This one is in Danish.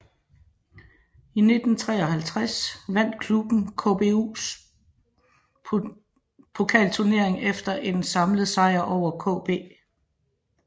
I 1953 vandt klubben KBUs pokalturnering efter en samlet sejr over KB